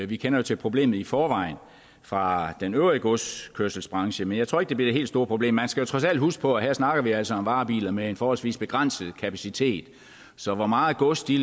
vi kender jo til problemet i forvejen fra den øvrige godskørselsbranche men jeg tror ikke det bliver det helt store problem man skal jo trods alt huske på at her snakker vi altså om varebiler med en forholdsvis begrænset kapacitet så hvor meget gods de